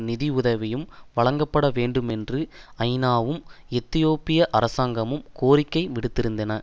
நிதி உதவியும் வழங்கப்பட வேண்டுமென்று ஐநாவும் எத்தியோப்பிய அரசாங்கமும் கோரிக்கை விடுத்திருக்கின்றன